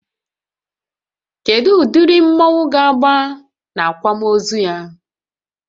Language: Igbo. Kedụ ụdịrị mmọnwu ga agba n'akwamozu ya?